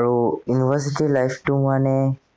আৰু university life টো মানে